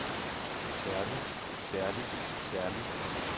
særlig særlig særlig